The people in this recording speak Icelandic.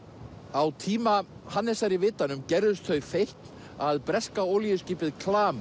á tíma Hannesar í vitanum gerðust þau feikn að breska olíuskipið